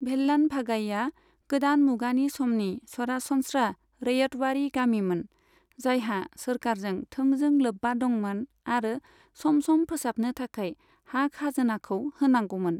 भेल्लान भागाईआ गोदान मुगानि समनि सरासनस्रा रैयतवारि गामिमोन, जायहा सोरखारजों थोंजों लोब्बा दंमोन आरो सम सम फोसाबनो थाखाय हा खाजोनाखौ होनांगौमोन।